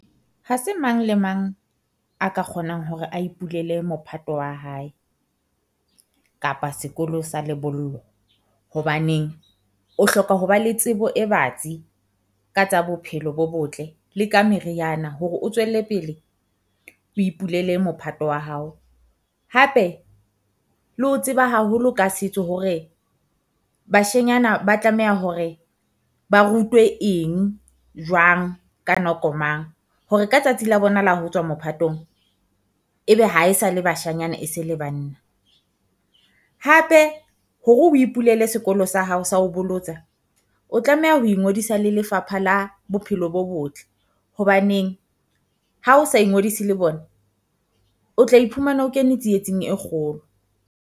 Ha se mang le mang a ka kgonang hore a ipulele mophato wa hae, kapa sekolo sa lebollo. Hobaneng o hloka ho ba le tsebo e batsi ka tsa bophelo bo botle le ka meriana hore o tswelle pele o ipulele mophato wa hao. Hape le ho tseba haholo ka setso hore bashenyana ba tlameha hore ba rutwe eng, jwang, ka nako mang. Hore ka tsatsi la bona la ho tswa mophatong, ebe ha e sa le bashanyana e se le banna. Hape hore o ipulele sekolo sa hao sa ho bolotsa, o tlameha ho ingodisa le Lefapha la Bophelo bo Botle. Hobaneng ha o sa ingodisa le bona, o tla iphumana o kene tsietsing e kgolo.